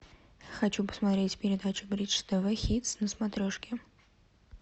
хочу посмотреть передачу бридж тв хитс на смотрешке